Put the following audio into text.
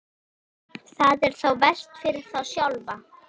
Það er þá verst fyrir þá sjálfa.